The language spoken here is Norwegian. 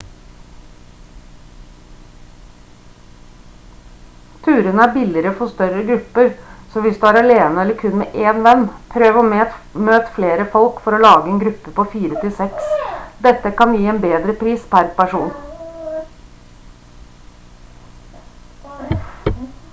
turene er billigere for større grupper så hvis du er alene eller kun med én venn prøv å møte flere folk for å lage en gruppe på fire til seks dette kan gi bedre pris per person